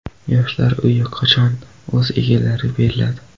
Yoshlar uyi qachon o‘z egalariga beriladi?.